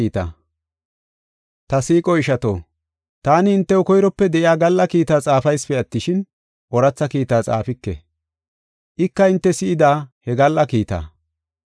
Ta siiqo ishato, taani hintew koyrope de7iya gal7a kiitaa xaafaysipe attishin, ooratha kiita xaafike. Ika hinte si7ida he gal7a kiitaa.